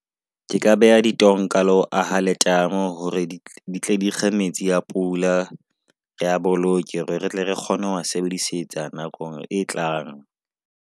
Ke ka beha ditonka le ho aha letamo hore di tle dikge metsi pula rea boloke. Hore retle re kgone ho sebedisetsa nakong e tlang.